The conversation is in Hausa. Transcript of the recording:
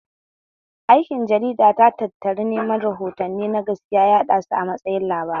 Aikin jarida ta tattari neman rahotanni na gaskiya ya yaɗasu a matsayin labarai